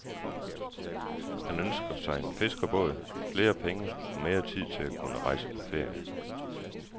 Han ønsker sig en fiskerbåd, flere penge og mere tid til at kunne rejse på ferie.